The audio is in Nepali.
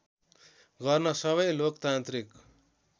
गर्न सबै लोकतान्त्रिक